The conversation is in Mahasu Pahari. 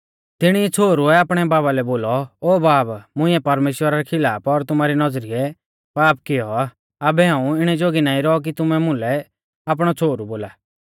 तिणी छ़ोहरुऐ आपणै बाबा लै बोलौ ओ बाब मुंइऐ परमेश्‍वरा रै खिलाफ और तुमारी नौज़रीऐ पाप कियौ आ आबै हाऊं इणै जोगी नाईं रौ कि तुमै मुलै आपणौ छ़ोहरु बोला